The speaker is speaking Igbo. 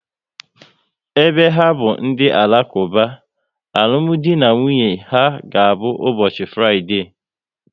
Ebe ha bụ ndị Alakuba, alụmdi na nwunye ha ga abụ ụbọchị Fraịdee